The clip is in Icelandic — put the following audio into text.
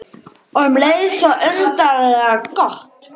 Og um leið svo undarlega gott.